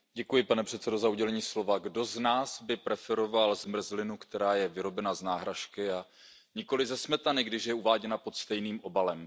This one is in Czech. Pane předsedající, kdo z nás by preferoval zmrzlinu, která je vyrobena z náhražky, ale nikoliv ze smetany, když je uváděna pod stejným obalem?